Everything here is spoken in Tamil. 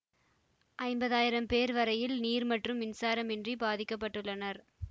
ஐம்பதாயிரம் பேர் வரையில் நீர் மற்றும் மின்சாரம் இன்றி பாதிக்க பட்டுள்ளனர்